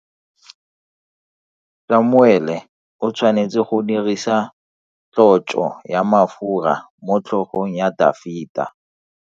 Samuele o tshwanetse go dirisa tlotso ya mafura motlhogong ya Dafita.